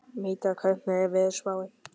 Mítra, hvernig er veðurspáin?